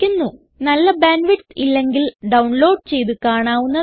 നല്ല bandwidth ഇല്ലെങ്കിൽ download ചെയ്ത് കാണാവുന്നതാണ്